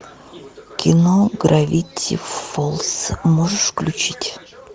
кино гравити фолс можешь включить